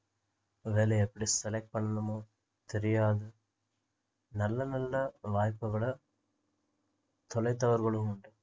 வேலையை எப்படி select பண்ணணுமோ தெரியாது நல்ல நல்ல வாய்ப்புகளை தொலைத்தவர்களும் உண்டு